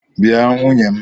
Bịa nwunye m!